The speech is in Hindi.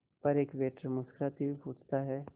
पर एक वेटर मुस्कुराते हुए पूछता है